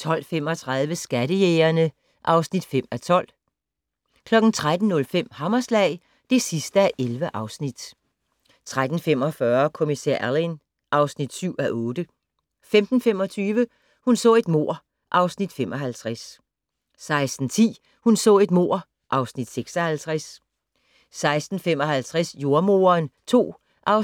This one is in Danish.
12:35: Skattejægerne (5:12) 13:05: Hammerslag (11:11) 13:45: Kommissær Alleyn (7:8) 15:25: Hun så et mord (Afs. 55) 16:10: Hun så et mord (Afs. 56) 16:55: Jordemoderen II (4:10)